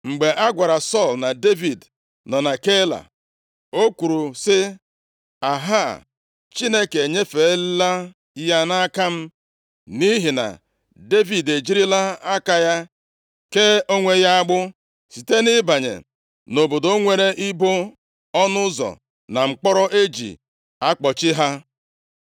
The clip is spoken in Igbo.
Mgbe a gwara Sọl na Devid nọ na Keila, o kwuru sị, “Ahaa! Chineke enyefeela ya nʼaka m, nʼihi na Devid e jirila aka ya kee onwe ya agbụ site nʼịbanye nʼobodo nwere ibo ọnụ ụzọ na mkpọrọ e ji akpọchi ha.”